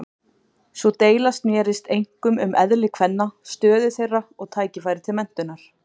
Sú deila snerist einkum um eðli kvenna, stöðu þeirra og tækifæri til menntunar.